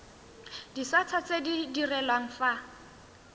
disata tse di direlwang fa